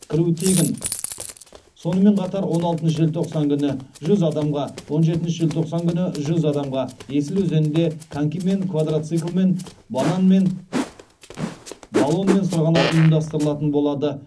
кіру тегін сонымен қатар он алтыншы желтоқсан күні жүз адамға он жетінші желтоқсан күні жүз адамға есіл өзенінде конькимен квадроциклмен банан мен баллонмен сырғанау ұйымдастыралатын болады